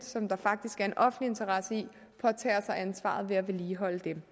som der faktisk er en offentlig interesse i påtager sig ansvaret med at vedligeholde dem